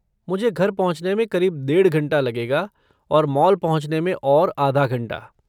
मुझे घर पहुँचने में करीब डेढ़ घंटा लगेगा और मॉल पहुँचने में और आधा घंटा।